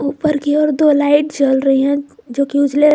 ऊपर की ओर दो लाइट जल रही हैं जोकि उजले--